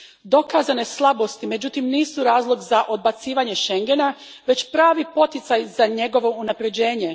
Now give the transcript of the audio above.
Dokazane slabosti, međutim, nisu razlog za odbacivanje Schengena, već pravi poticaj za njegovo unaprjeđenje.